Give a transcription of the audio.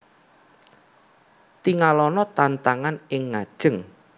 Tingalana tantangan ing ngajeng